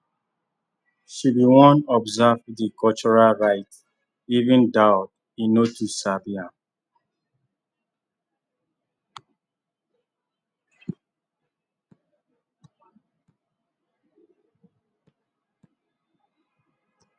she been wan observe the cultural rites even thou he no too sabi am